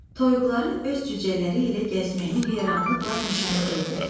Toyuqların öz cücələri ilə gəzməyini heyranlıqla müşahidə edirdi.